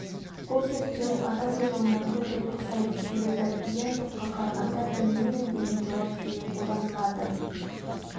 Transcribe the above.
бұл зерттеу адам ойлауына көбірек ұқсайды себебі иә жоққа қарағанда білмеймін деген жауап жиі қолданылады